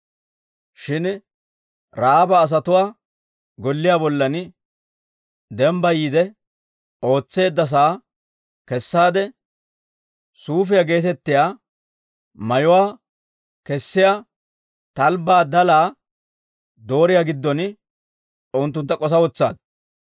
Shin Ra'aaba asatuwaa golliyaa bollan dembbayiide ootseedda sa'aa kessaade, suufiyaa geetettiyaa mayuwaa kesiyaa talbbaa dalaa dooriyaa giddon unttuntta k'osa wotsaaddu.